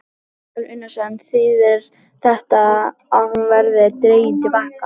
Kristján Már Unnarsson: Þýðir þetta að hún verði dregin til baka?